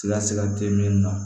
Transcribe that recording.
Siga sigati min na